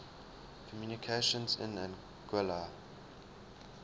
communications in anguilla